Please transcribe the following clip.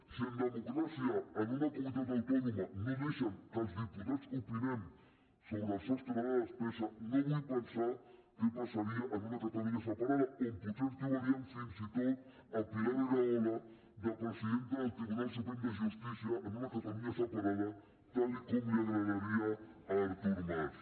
si en democràcia en una comunitat autònoma no deixen que els diputats opinem sobre el sostre de despesa no vull pensar què passaria en una catalunya separada on potser ens trobaríem fins i tot pilar rahola de presidenta del tribunal suprem de justícia en una catalunya separada tal com li agradaria a artur mas